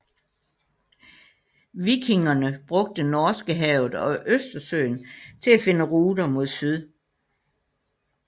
Vikingerne brugte Norskehavet og Østersøen til at finde ruter mod syd